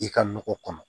I ka nɔgɔ kɔnɔ